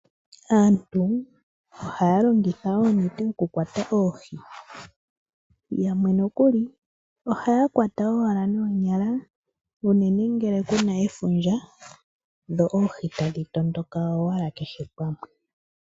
Aantu ohaya longitha oonete dhokukwata oohi. Yamwe nokuli ohaya kwata owala noonyala unene ngele ku naefundja dho oohi tadhi tondoka owala kehe pamwe.